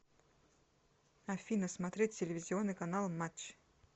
афина смотреть телевизионный канал матч